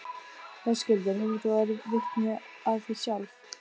Höskuldur: Hefur þú orðið vitni af því sjálf?